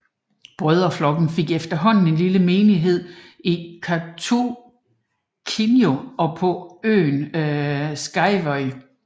Brødreflokken fik efterhånden en lille menighed i Kautokeino og på øen Skjervøy